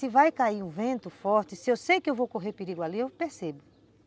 Se vai cair um vento forte, se eu sei que vou correr perigo ali, eu percebo.